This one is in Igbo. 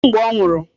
Kedụ mgbe ọ nwụrụ?